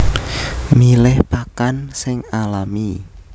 Milih pakan sing alami